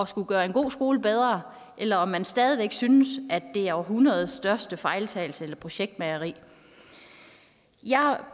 skulle gøre en god skole bedre eller om man stadig væk synes at det er århundredets største fejltagelse eller projektmageri jeg